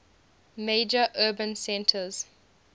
major urban centers